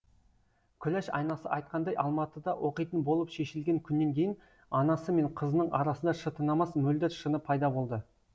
күләш анасы айтқандай алматыда оқитын болып шешілген күннен кейін анасы мен қызының арасында шытынамас мөлдір шыны пайда болды